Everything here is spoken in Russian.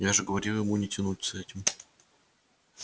я же говорил ему не тянуть с этим